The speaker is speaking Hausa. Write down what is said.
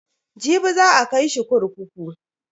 Jibi za a kai shi kurkuku.